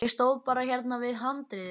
Ég stóð bara hérna við handriðið.